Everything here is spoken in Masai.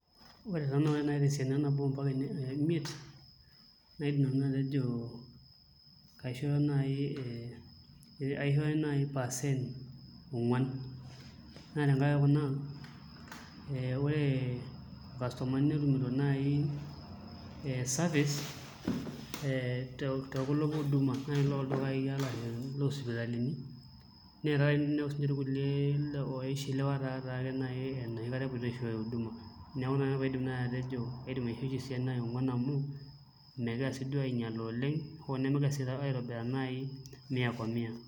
Ore taa naai tesiana e nabo ometabaiki imiet nejo kaisho naai percent ongwan naa tenkaraki kuna ee ore irkastomani netumito naai ee service ee tekulo huduma looldukai arashu loosipitalini neya taata ake ninepu siinche irkulie oishiliwa taataake enoshi kata epoito aishooyo huduma neeku ina naai paidim nanu atejo aidim aishoo esiana e ongwan amu megiraa sii duo ainyilaa oleng' nemegira sii aitobiraa naai mia kwa mia.